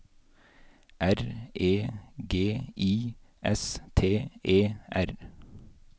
R E G I S T E R